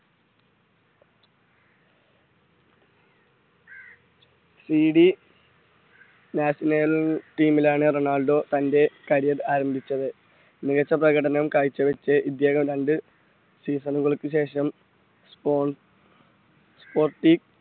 CD national air team Ronaldo തൻറെ carrier ആരംഭിച്ചത് മികച്ച പ്രകടനം കാഴ്ചവച്ച ഇദ്ദേഹം രണ്ട് season കൾക്കു ശേഷം spon sponti